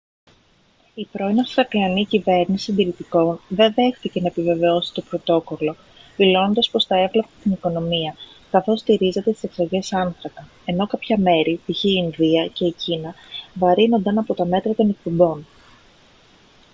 η πρώην αυστραλιανή κυβέρνηση συντηρητικών δεν δέχτηκε να επιβεβαιώσει το πρωτόκολλο δηλώνοντας πως θα έβλαπτε την οικονομία καθώς στηρίζεται στις εξαγωγές άνθρακα ενώ κάποια μέρη π.χ. η ινδία και η κίνα βαρύνονταν από τα μέτρα των εκπομπών